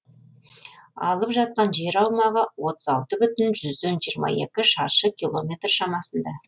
алып жатқан жер аумағы отыз алты бүтін жүзден жиырма екі шаршы километр шамасында